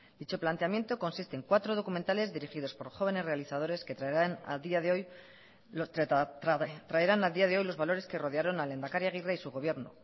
dicho planteamiento consiste en cuatro documentales dirigidos por jóvenes realizadores que traerán a día de hoy los valores que rodearon al lehendakari aguirre y su gobierno